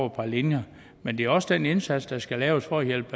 et par linjer men det er også den indsats der skal laves for at hjælpe